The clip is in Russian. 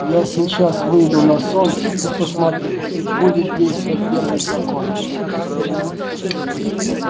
я сейчас выйду на солнце и посмотрю будет действовать первый закон